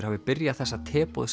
hafi byrjað þessa